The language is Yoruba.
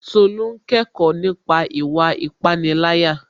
Tolú n kẹ́kọ̀ọ́ nípa ìwà ìpániláyà